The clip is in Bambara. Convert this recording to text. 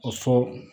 O fɔ